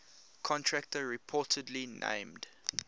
contractor reportedly named